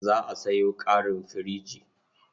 Za a sayo ƙarin firich.